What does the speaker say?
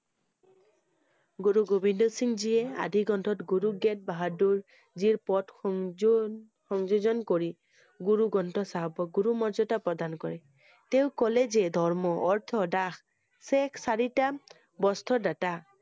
গুৰু গোবিন্দ সিংহজীয়ে আদি গ্ৰন্থত গুৰু গেদ বাহাদুৰ জীৰ পথ সংযোগ~সংযোজন কৰি, গুৰু গ্ৰন্থ চাহাবক গুৰু মৰ্যদা প্ৰদান কৰে। তেওঁ কলে যে ধৰ্ম, অৰ্থ, দাস, শেইখ, চাৰিটা বস্ত্ৰ দাতা